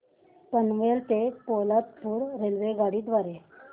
पनवेल ते पोलादपूर रेल्वेगाडी द्वारे